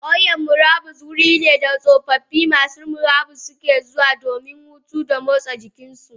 Kauyan murabus wurine da tsofaffi masu murabus ke zuwa domin hutu da motsa jikinsu.